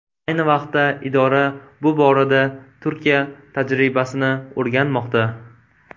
Ayni vaqtda idora bu borada Turkiya tajribasini o‘rganmoqda.